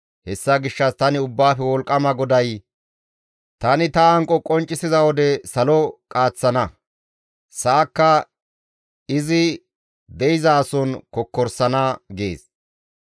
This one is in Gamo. Hessa gishshas tani Ubbaafe Wolqqama GODAY, ‹Tani ta hanqo qonccisiza wode salo qaaththana; sa7akka izi de7izason kokkorsana› gees.